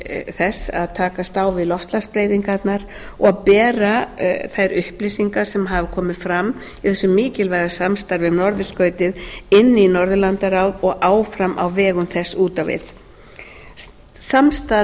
þess að takast á við loftslagsbreytingarnar og bera þær upplýsingar sem hafa komið fram úr þessu mikilvæga samstarfi um norðurskautið inn í norðurlandaráð og áfram á vegum þess út á við samstarf